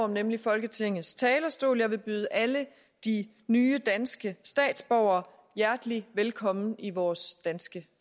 nemlig folketingets talerstol jeg vil byde alle de nye danske statsborgere hjertelig velkommen i vores danske